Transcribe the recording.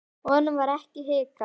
Honum varð ekki hnikað.